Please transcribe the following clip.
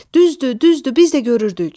Düzdür, düzdür, biz də görürdük.